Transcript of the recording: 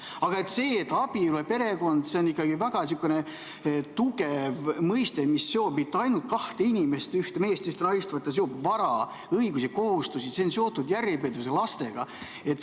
Aga abielu ja perekond on tugev mõiste, missioon, mitte ainult kaks inimest, üks mees ja naine, see on vara, õigused ja kohustused, see on seotud järjepidevuse ja lastega.